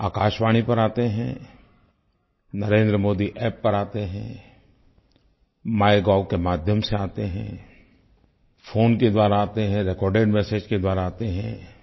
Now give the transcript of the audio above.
आकाशवाणी पर आते हैं नरेंद्र मोदी App पर आते हैं माइगोव के माध्यम से आते हैं फ़ोन के द्वारा आते हैं रेकॉर्डेड मेसेज के द्वारा आते हैं